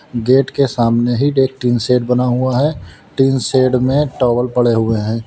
Gate के सामने ही एक टीन शेड बना हुआ है टीन शेड में टॉवल पड़े हुए हैं।